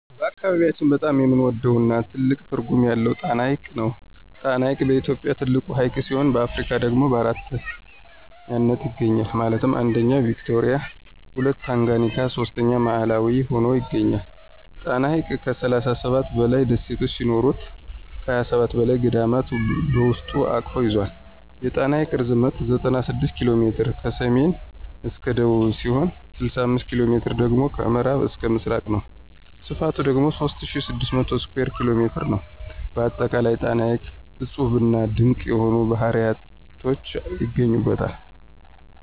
በአካባቢያችን በጣም የምንወደው እና ትልቅ ትርጉም ያለው ጣና ሐይቅ ነው። ጣና ሐይቅ በኢትዮጵያ ትልቁ ሀይቅ ሲሆን በአፍሪካ ደግሞ በአራተኛነት ይገኛል ማለትም 1ኛ ቪክቶሪያ 2ኛ ታንጋኒካ 3ኛ ማላዊ ሁኖ ይገኛል። ጣና ሐይቅ ከ37 በላይ ደሴት ሲኖሩት ከ27 በላይ ገዳማት በውስጡ አቅፎ ይዞል። የጣና ሐይቅ ርዝመት 96 ኪ.ሜ ከሰሜን እስከ ደቡብ ሲሆን 65ኪ.ሜ ደግሞ ከምዕራብ እስከ ምስራቅ ነው። ስፍቱ ደግሞ 3600 ስኩየር ኪ.ሜ ነው። በአጠቃላይ ጣና ሐይቅ እፁብና ድንቅ የሆኑ ባህርያቶች ይገኙበታል።